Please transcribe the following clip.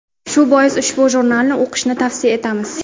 Shu bois ushbu jurnalni o‘qishni tavsiya etamiz.